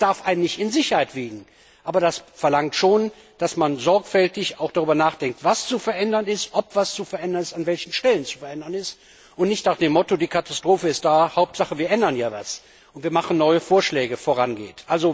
Das darf einen nicht in Sicherheit wiegen, aber das verlangt schon, dass man auch sorgfältig darüber nachdenkt, was zu verändern ist, ob etwas zu verändern ist, an welchen Stellen zu verändern ist, und man nicht nach dem Motto Die Katastrophe ist da Hauptsache, wir ändern hier etwas und machen neue Vorschläge vorgeht.